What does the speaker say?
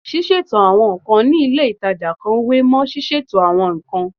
Ṣíṣètò àwọn nǹkan ní ilé ìtajà kan wé mọ́ ṣíṣètò àwọn nǹkan